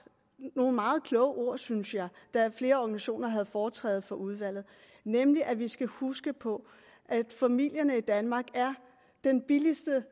nogle meget kloge ord synes jeg da flere organisationer havde foretræde for udvalget nemlig at vi skal huske på at familierne i danmark er den billigste